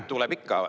Ei, tuleb ikka.